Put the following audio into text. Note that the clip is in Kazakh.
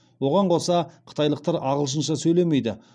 оған қоса қытайлықтар ағылшынша сөйлемейді